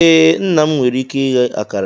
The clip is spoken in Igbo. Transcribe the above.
Ee, nna m nwere ike ighe akara.